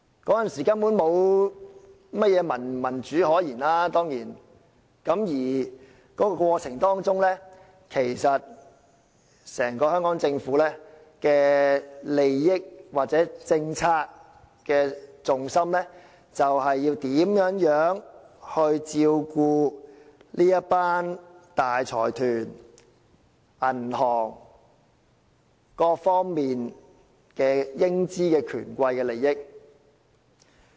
當然，那時根本沒有甚麼民主可言，在這過程中，整個香港政府的政策重心其實是要如何照顧這一群大財團、銀行、各方面的英資權貴的利益。